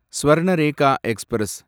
Swarnarekha express